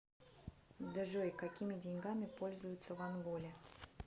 джой какими деньгами пользуются в анголе